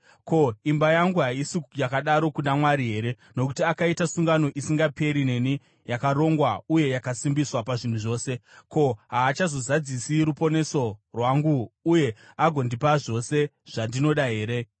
“Ko, imba yangu haisi yakadaro kuna Mwari here? Nokuti akaita sungano isingaperi neni, yakarongwa uye yakasimbiswa pazvinhu zvose. Ko, haachazozadzisi ruponeso rwangu uye agondipa zvose zvandinoda here?